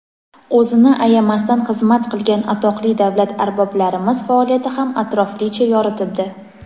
o‘zini ayamasdan xizmat qilgan atoqli davlat arboblarimiz faoliyati ham atroflicha yoritildi.